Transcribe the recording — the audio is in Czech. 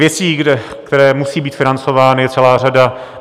Věcí, které musejí být financovány, je celá řada.